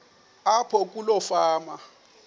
apho kuloo fama